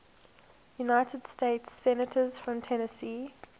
united states senators from tennessee